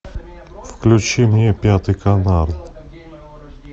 включи мне пятый канал